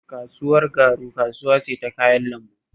Kasuwar Garu kasuwa ce ta kayan lambu